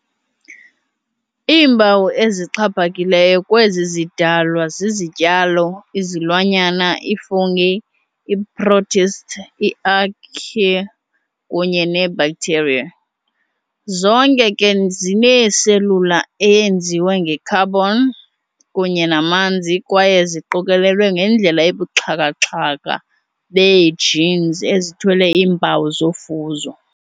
Iimpawu ezixhaphakileyo kwezi zidalwa zizityalo, izilwanyana, i-fungi, ii-protists, i-archaea, kunye ne-bacteria, zonke ke zinee-cellular eyenziwe nge-carbon kunye namanzi kwaye ziqokolelwe ngendlela ebubuxhakaxhaka bee-genes ezithwele iimpawu zofuzo.